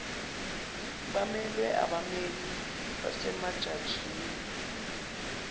bemelwe abammeli basemajajini